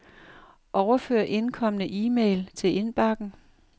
Overfør indkomne e-mail til indbakken.